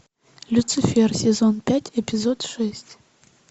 люцифер сезон пять эпизод шесть